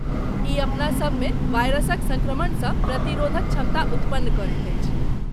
ई अपनासभ मे वायरसक सङ्क्रमणसँ प्रतिरोधक क्षमता उत्पन्न करैत अछि।